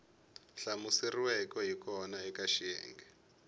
hlamuseriweke hi kona eka xiyenge